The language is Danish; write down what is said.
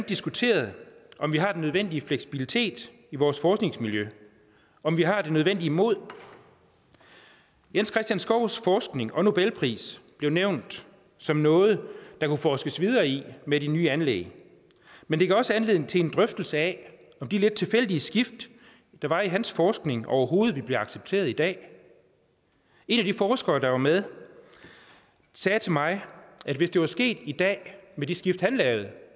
diskuteret om vi har den nødvendige fleksibilitet i vores forskningsmiljø om vi har det nødvendige mod jens christians skovs forskning og nobelpris blev nævnt som noget der kunne forskes videre i med de nye anlæg men det gav også anledning til en drøftelse af om de lidt tilfældige skift der var i hans forskning overhovedet ville blive accepteret i dag en af de forskere der var med sagde til mig at hvis det var sket i dag med de skift han lavede